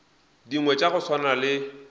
dingwe tša go swana le